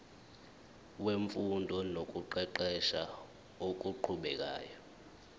wemfundo nokuqeqesha okuqhubekayo